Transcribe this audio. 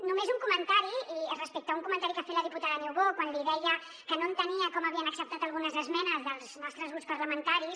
només un comentari respecte a un comentari que ha fet la diputada niubó quan deia que no entenia com havien acceptat algunes esmenes dels nostres grups parlamentaris